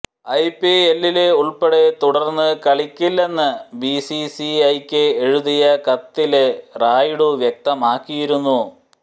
ഐപിഎല്ലില് ഉള്പ്പെടെ തുടര്ന്ന് കളിക്കില്ലെന്ന് ബിസിസിഐയ്ക്ക് എഴുതിയ കത്തില റായിഡു വ്യക്തമാക്കിയിരുന്നു